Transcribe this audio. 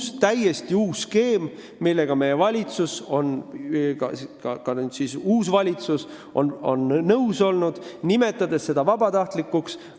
See on täiesti uus skeem, millega meie valitsus – ka nüüd uus valitsus – on nõus olnud, nimetades seda vabatahtlikuks nõusolekuks.